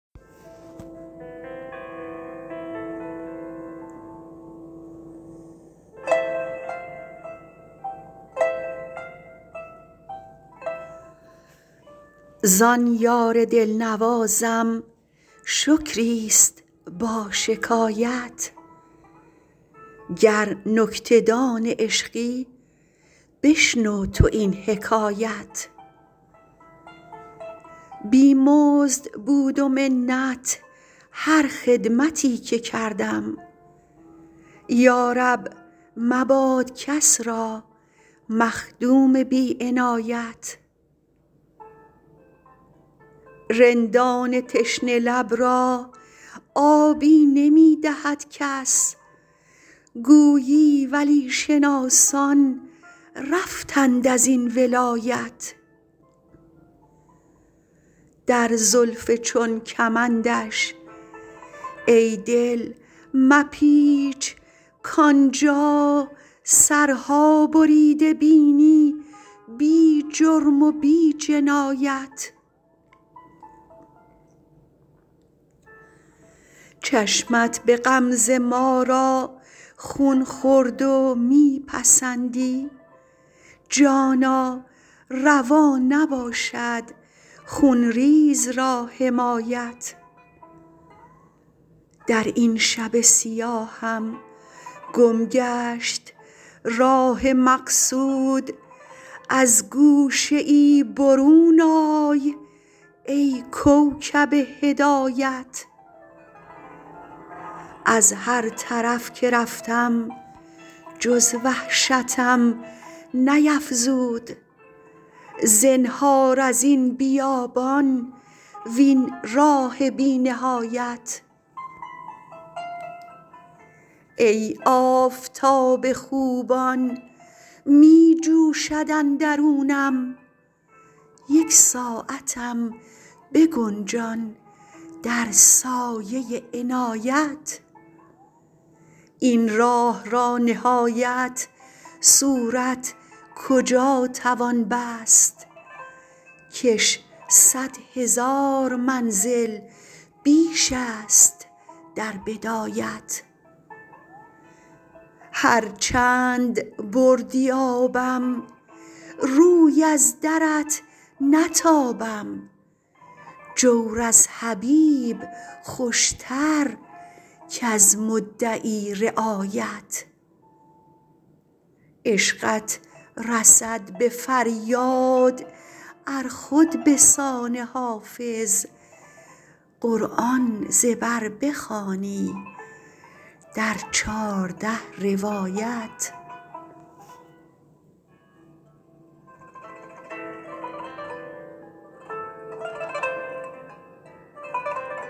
زان یار دل نوازم شکری است با شکایت گر نکته دان عشقی بشنو تو این حکایت بی مزد بود و منت هر خدمتی که کردم یا رب مباد کس را مخدوم بی عنایت رندان تشنه لب را آبی نمی دهد کس گویی ولی شناسان رفتند از این ولایت در زلف چون کمندش ای دل مپیچ کآن جا سرها بریده بینی بی جرم و بی جنایت چشمت به غمزه ما را خون خورد و می پسندی جانا روا نباشد خون ریز را حمایت در این شب سیاهم گم گشت راه مقصود از گوشه ای برون آی ای کوکب هدایت از هر طرف که رفتم جز وحشتم نیفزود زنهار از این بیابان وین راه بی نهایت ای آفتاب خوبان می جوشد اندرونم یک ساعتم بگنجان در سایه عنایت این راه را نهایت صورت کجا توان بست کش صد هزار منزل بیش است در بدایت هر چند بردی آبم روی از درت نتابم جور از حبیب خوش تر کز مدعی رعایت عشقت رسد به فریاد ار خود به سان حافظ قرآن ز بر بخوانی در چارده روایت